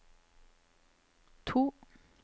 to